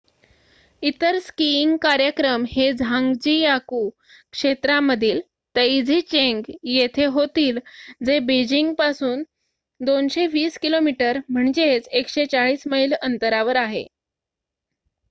इतर स्कीईंग कार्यक्रम हे झान्ग्जीयाकु क्षेत्रामधील तैझीचेंग येथे होतील जे बीजिंग पासून 220 किमी 140 मैल अंतरावर आहे